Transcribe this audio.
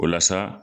O la sa